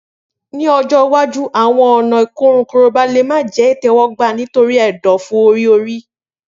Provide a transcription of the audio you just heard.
Ni ọjọ iwaju awọn ọna ikorun Koroba le jẹ itẹwọgba nitori ẹdọfu ori-ori.